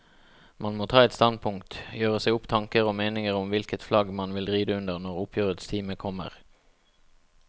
Man må ta et standpunkt, gjøre seg opp tanker og meninger om hvilket flagg man vil ride under når oppgjørets time kommer.